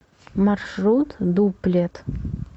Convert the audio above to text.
маршрут дуплет